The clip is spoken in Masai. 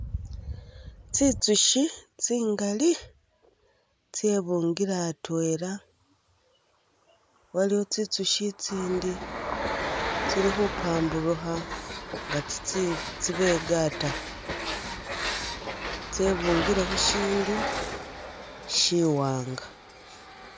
Tsi tsushi tsingali tsebungile atwela, waliwo tsitsushi itsindi tsili khupamburukha nga tsibegatakho tse bungile khushindu shi wanga.